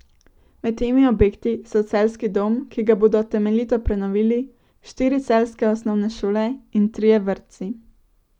Med temi objekti so Celjski dom, ki ga bodo temeljito prenovili, štiri celjske osnovne šole in trije vrtci.